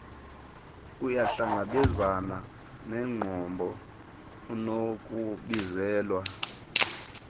uyahlangabezana neenqobo unokubizelwa